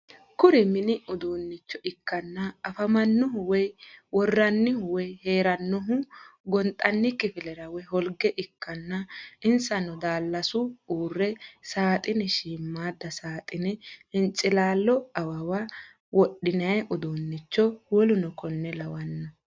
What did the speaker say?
Kuri mini uduunnicho ikkanna afamannohuno woy worrannihu woy heerannohu gonxanni kifilera woy holge ikkanna insano daallasu uurro saaxine shiimadda saaxine hincilaallo awawa wodhinay udunnicho w.k.l .